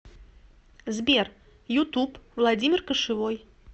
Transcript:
сбер ютуб владимир кошевой